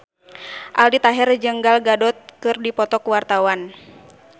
Aldi Taher jeung Gal Gadot keur dipoto ku wartawan